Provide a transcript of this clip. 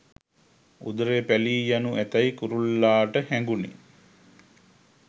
උදරය පැළී යනු ඇතැයි කුරුල්ලාට හැඟුනි